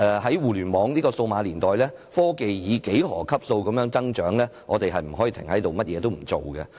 在互聯網數碼年代，科技正以幾何級數的速度發展，我們不可以停下來，甚麼也不做。